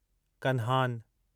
Kanhan